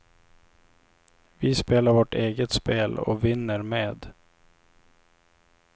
Vi spelar vårt eget spel och vinner med.